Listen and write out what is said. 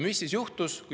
Mis siis juhtus?